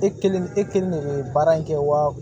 E kelen e kelen de bɛ baara in kɛ wa